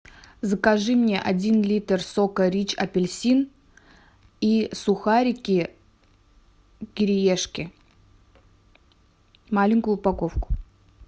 закажи мне один литр сока рич апельсин и сухарики кириешки маленькую упаковку